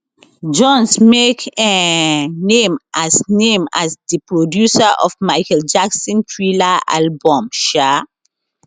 jones make um name as name as di producer of michael jackson thriller album um